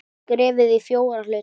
Skerið í fjóra hluta.